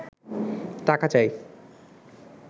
টাকা চাই